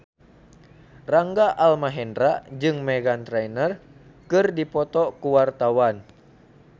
Rangga Almahendra jeung Meghan Trainor keur dipoto ku wartawan